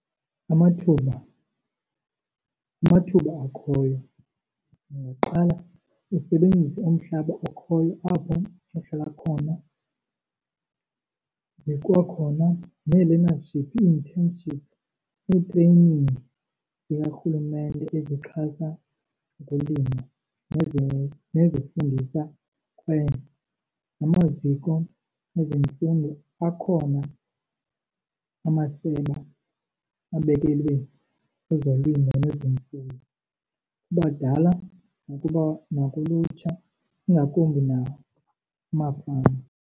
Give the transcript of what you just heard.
Amathuba, amathuba akhoyo ungaqala usebenzise umhlaba okhoyo apho uhlala khona. Zikwakhona nee-learnership, ii-internship, nee-training zikarhulumente ezixhasa ukulima nezifundisa . Namaziko ezemfundo akhona amasebe abekelwe ezolimo nezemfuyo kubadala nakulutsha, ingakumbi nakumafama.